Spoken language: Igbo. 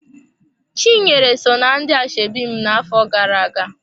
Chinyere so ná ndị ashebi m na-afọ gara-aga.